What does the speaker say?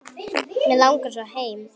Mig langar svo heim.